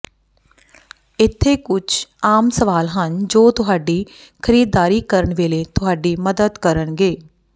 ਇੱਥੇ ਕੁਝ ਆਮ ਸਵਾਲ ਹਨ ਜੋ ਤੁਹਾਡੀ ਖਰੀਦਦਾਰੀ ਕਰਨ ਵੇਲੇ ਤੁਹਾਡੀ ਮਦਦ ਕਰਨਗੇ